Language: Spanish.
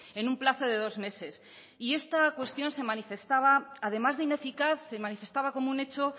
en un plazo de dos meses y esta cuestión se manifestaba además de ineficaz se manifestaba como un hecho